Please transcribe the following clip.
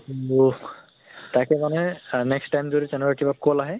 তাকে মানে ah next time যদি তেনেকুৱা কিবা call আহে